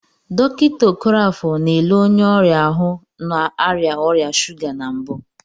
Dọkịta Okoroafor na-ele onye ọrịa ahụ na-arịa ọrịa shuga na mbụ.